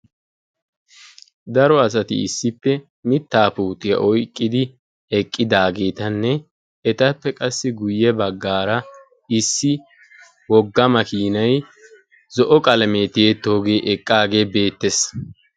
Daro asati issippe Mittaa puutiyaa oyqqidi eqidaagetanne etappe qassi guyye baggara issi wogga makinay zo'o qalame tiyetooge eqagee beettes.